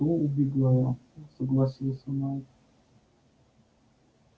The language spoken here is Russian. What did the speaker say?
то убегаю согласился найд